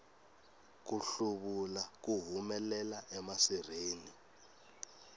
ku hluvula ku humelela emasirheni